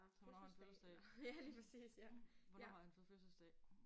Så hvornår har han fødselsdag? Hvornår har han så fødselsdag?